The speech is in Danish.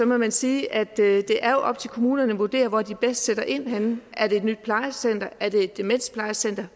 man sige at det er op til kommunerne at vurdere hvor de bedst sætter ind henne er det et nyt plejecenter er det et demensplejecenter